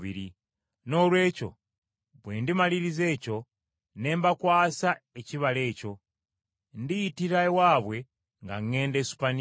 Noolwekyo bwe ndimaliriza ekyo ne mbakwasa ekibala ekyo, ndiyitira ewammwe nga ŋŋenda Esupaniya.